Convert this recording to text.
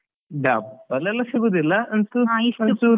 Double ಎಲ್ಲ ಸಿಗುದಿಲ್ಲ ಚೂರು.